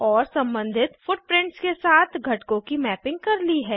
और सम्बंधित फुटप्रिंट्स के साथ घटकों की मैपिंग कर ली है